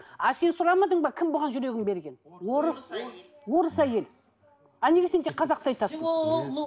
а сен сұрамадың ба кім бұған жүрегін берген орыс орыс әйел а неге сен тек қазақты айтасың